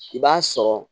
I b'a sɔrɔ